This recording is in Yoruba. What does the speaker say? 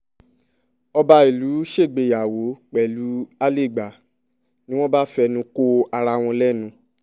ọba ìlú ṣègbéyàwó pẹ̀lú àlégbà ni wọ́n bá fẹnu ko ara wọn lẹ́nu